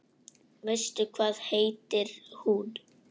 Veistu hvað heitir hún?